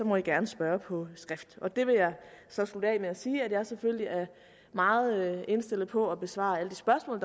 man gerne spørge på skrift jeg vil så slutte af med at sige at jeg selvfølgelig er meget indstillet på at besvare alle de spørgsmål